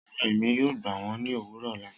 Rara, Emi yoo gba wọn ni owurọ ọla